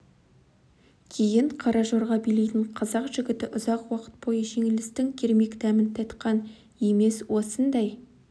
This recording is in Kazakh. кейін қара жорға билейтін қазақ жігіті ұзақ уақыт бойы жеңілістің кермек дәмін татқан емес осындай